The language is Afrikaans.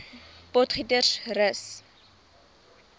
potgietersrus